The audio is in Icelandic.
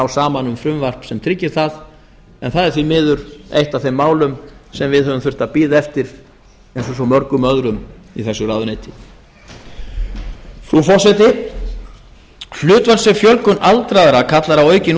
saman um frumvarp sem tryggir það en það er því miður eitt af þeim málum sem við höfum þurft að bíða eftir eins og svo mörgum öðrum í þessu ráðuneyti frú forseti hlutfallsleg fjölgun aldraðra kallar á aukin